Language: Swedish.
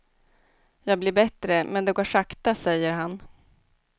Jag blir bättre men det går sakta, säger han.